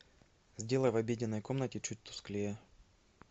сделай в обеденной комнате чуть тусклее